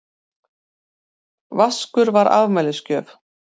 Vaskur var afmælisgjöf.